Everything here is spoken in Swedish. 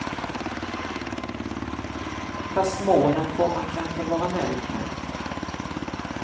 Fast målen får man kanske vara nöjd med.